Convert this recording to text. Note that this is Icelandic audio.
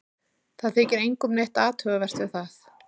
Það þykir engum neitt athugavert við það.